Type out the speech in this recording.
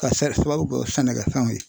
Ka sababu kɛ sɛnɛkɛfɛnw ye.